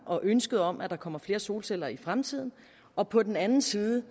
og ønske om at der kommer flere solceller i fremtiden og på den anden side